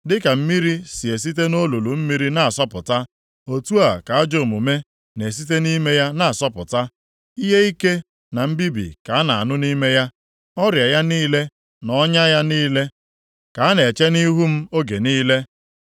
Dịka mmiri si esite nʼolulu mmiri na-asọpụta otu a ka ajọ omume na-esite nʼime ya na-asọpụta. Ihe ike na mbibi ka a na-anụ nʼime ya; ọrịa ya niile na ọnya ya niile ka a na-eche nʼihu m oge niile.